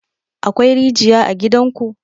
Akwai rijiya a gidan ku?